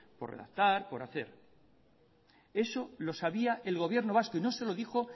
por redactar por hacer eso lo sabía el gobierno vasco y no se lo dijo